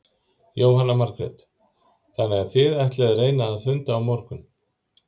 Jóhanna Margrét: Þannig þið ætlið að reyna að funda á morgun?